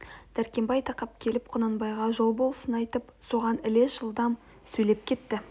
дәркембай тақап келіп құнанбайға жол босын айтып соған ілес жылдам сөйлеп кетті